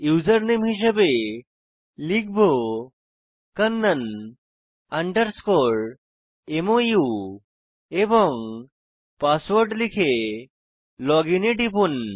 username হিসাবে লিখব kannan mou এবং পাসওয়ার্ড লিখে লজিন এ টিপুন